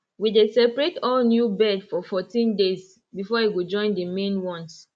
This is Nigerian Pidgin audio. we dey separate all new bird for fourteen days before e go join the main ones